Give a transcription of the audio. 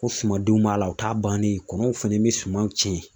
Ko sumadenw b'a la, o t'a bannen ye. Kɔnɔw fana be sumaw tiɲɛ.